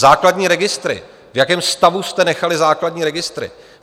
Základní registry - v jakém stavu jste nechali základní registry?